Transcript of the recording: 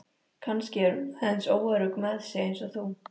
Kannski er hún aðeins óörugg með sig eins og þú.